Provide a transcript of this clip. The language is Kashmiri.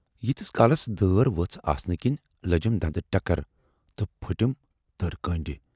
ییٖتِس کالَس دٲر ؤژھ آسنہٕ کِنۍ لٔجِم دندٕ ٹکر تہٕ پھٔٹِم تۭرِ کٔنڈۍ۔